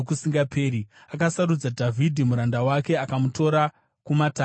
Akasarudza Dhavhidhi muranda wake, akamutora kumatanga amakwai;